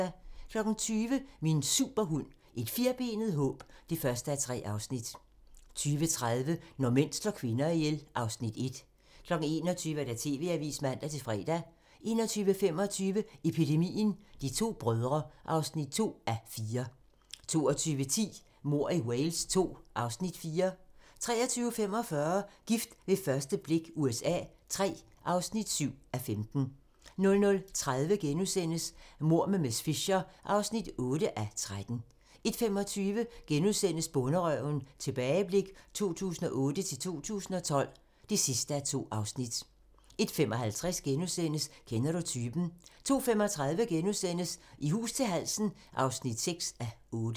20:00: Min superhund: Et firbenet håb (1:3) 20:30: Når mænd slår kvinder ihjel (Afs. 1) 21:00: TV-avisen (man-fre) 21:25: Epidemien - De to brødre (2:4) 22:10: Mord i Wales II (Afs. 4) 23:45: Gift ved første blik USA III (7:15) 00:30: Mord med miss Fisher (8:13)* 01:25: Bonderøven - tilbageblik 2008-2012 (2:2)* 01:55: Kender du typen? *(man) 02:35: I hus til halsen (6:8)*